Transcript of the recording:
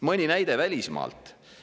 Mõni näide välismaalt.